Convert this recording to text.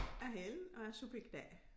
Jeg hedder Ellen og er subjekt A